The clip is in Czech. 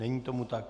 Není tomu tak.